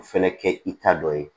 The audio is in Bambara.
Fɛnɛ kɛ i ta dɔ ye